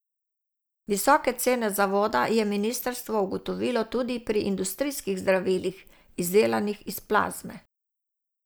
Visoke cene zavoda je ministrstvo ugotovilo tudi pri industrijskih zdravilih, izdelanih iz plazme.